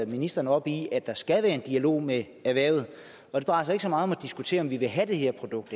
ministeren op i at der skal være en dialog med erhvervet og det drejer sig ikke så meget om at diskutere om vi vil have det her produkt